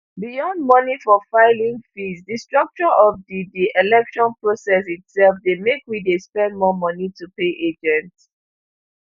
beyond moni for filing fees di structure of di di election process itserf dey make we dey spend more moni to pay agents